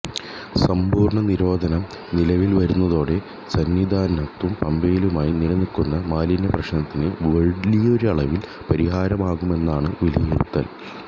സമ്പൂര്ണ നിരോധനം നിലവില് വരുന്നതോടെ സന്നിധാനത്തും പമ്പയിലുമായി നിലനില്ക്കുന്ന മാലിന്യ പ്രശ്നത്തിന് വലിയൊരളവില് പരിഹാരമാകുമെന്നാണ് വിലിയിരുത്തല്